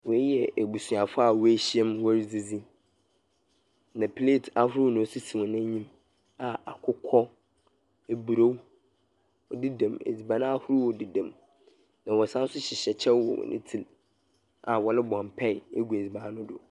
Wei yɛ abusuafoɔ a woehyiam wɔredzidzi, na plate ahodoɔ na osisi hɔn enyim a akokɔ, aburo ɔdedam edziban ahorow dedam, na wɔsan nso hyehyɛ kyɛw wɔn hɔn tsir a wɔrebɔ mpae agu edzina no do.